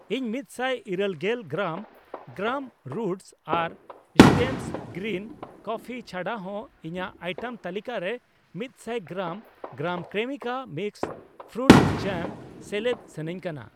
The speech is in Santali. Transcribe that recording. ᱤᱧ ᱢᱤᱛᱥᱟᱭ ᱤᱨᱟᱹᱞ ᱜᱮᱞ ᱜᱨᱟᱢ , ᱜᱨᱟᱢ ᱨᱩᱴᱥ ᱟᱨ ᱥᱴᱮᱢᱥ ᱜᱨᱤᱱ ᱠᱚᱯᱷᱯᱷᱤ ᱪᱷᱟᱰᱟ ᱦᱚ ᱤᱧᱟᱜ ᱟᱭᱴᱮᱢ ᱛᱟᱹᱞᱤᱠᱟ ᱨᱮ ᱢᱤᱛᱥᱟᱭ ᱜᱨᱟᱢ , ᱜᱨᱟᱢ ᱠᱨᱮᱢᱤᱠᱟ ᱢᱤᱠᱥ ᱯᱷᱨᱩᱴ ᱡᱟᱢ ᱥᱮᱞᱮᱫ ᱥᱟᱱᱟᱧ ᱠᱟᱱᱟ ᱾